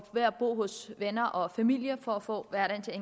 at bo hos venner og familie for at få hverdagen til at